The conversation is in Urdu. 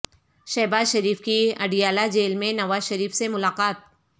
شہباز شریف کی اڈیالہ جیل میں نواز شریف سے ملاقات